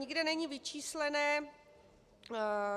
Nikde není vyčísleno